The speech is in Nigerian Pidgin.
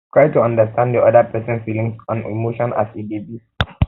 try to understand di oda person feelings oda person feelings and emotions as e dey be